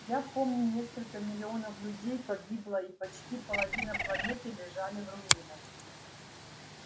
я помню несколько миллионов людей погибло и почти половина планеты лежали в руинах